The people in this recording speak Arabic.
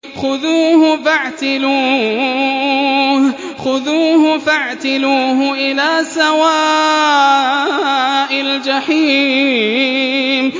خُذُوهُ فَاعْتِلُوهُ إِلَىٰ سَوَاءِ الْجَحِيمِ